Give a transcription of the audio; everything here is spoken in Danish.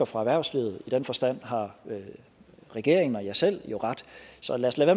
fra erhvervslivet i den forstand har regeringen og jeg selv jo ret så lad os lade